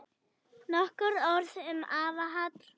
Nokkur orð um afa Hall.